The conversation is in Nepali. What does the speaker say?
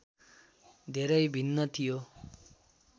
धेरै भिन्न थियो